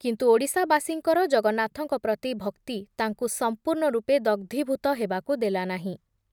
କିନ୍ତୁ ଓଡ଼ିଶାବାସୀଙ୍କର ଜଗନ୍ନାଥଙ୍କ ପ୍ରତି ଭକ୍ତି ତାଙ୍କୁ ସମ୍ପୂର୍ଣ୍ଣ ରୂପେ ଦଗ୍‌ଧୀଭୂତ ହେବାକୁ ଦେଲା ନାହିଁ ।